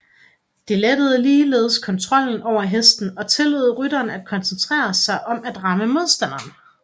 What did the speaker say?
Det lettede ligeledes kontrollen over hesten og tillod rytteren at koncentrere sig om at ramme modstanderen